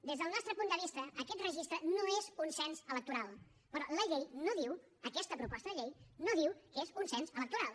des del nostre punt de vista aquest registre no és un cens electoral però la llei no diu aquesta proposta de llei no diu que és un cens electoral